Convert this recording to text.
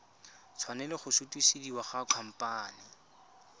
tshwanela go sutisediwa go khamphane